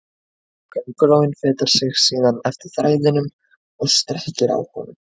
Köngulóin fetar sig síðan eftir þræðinum og strekkir á honum.